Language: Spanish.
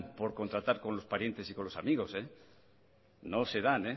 por contratar con los parientes y amigos no se dan